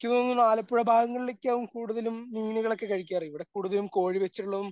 എനിക്ക് തോന്നുന്നു ആലപ്പുഴ ഭാഗങ്ങളിലേക്കാവും കൂടുതലും മീനുകളൊക്കെ കഴിക്കാറ് ഇവിടെ കൂടുതലും കോഴി വെച്ചിട്ടുള്ളതും